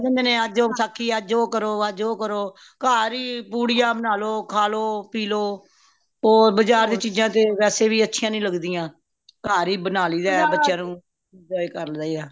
ਅੱਜ ਉਹ ਵਸਾਖ਼ੀ ਹੈ ਅੱਜ ਉਹ ਕਰੋ ਅੱਜ ਉਹ ਕਰੋ ਘਰ ਹੀ ਪੁੜੀਆਂ ਬਣਾ ਲੋ ਖਾਂ ਲੋ ਪੀਹ ਲੋ ਹੋਰ ਬਜ਼ਾਰ ਦੀ ਚੀਜ਼ਾਂ ਤੇ ਵੇਸੇ ਵੀ ਅਛਿਯਾ ਨਹੀਂ ਲਗਦਿਆਂ ਘਾਰ ਹੀ ਬਣਾ ਲਈ ਦਹ ਬੱਚਿਆਂ ਨੂੰ enjoy ਕਰ ਲਈਦਾ